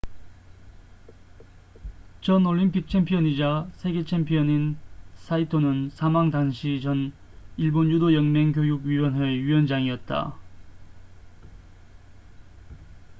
전 올림픽 챔피언이자 세계 챔피언인 saito는 사망 당시 전 일본 유도 연맹 교육 위원회의 위원장이었다